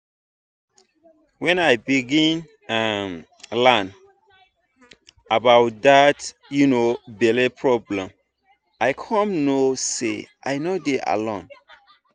when i begin um learn about that um belle problem i come know say i no dey alone